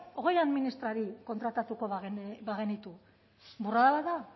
hogei administrari kontratatuko bagenitu burrada bat da